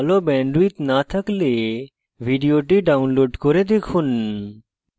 ভাল bandwidth না থাকলে ভিডিওটি download করে দেখুন